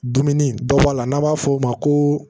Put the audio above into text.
Dumuni dɔ b'a la n'a b'a f'o ma ko